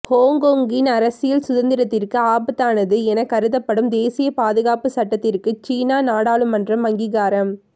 ஹொங்கொங்கின் அரசியல் சுதந்திரத்திற்கு ஆபத்தானது என கருதப்படும் தேசிய பாதுகாப்பு சட்டத்திற்கு சீனா நாடாளுமன்றம் அங்கீகாரம்